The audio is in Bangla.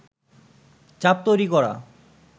চাপ তৈরী করা